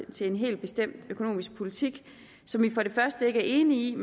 til en helt bestemt økonomisk politik som vi for det første ikke er enige i